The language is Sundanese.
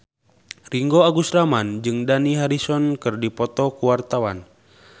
Ringgo Agus Rahman jeung Dani Harrison keur dipoto ku wartawan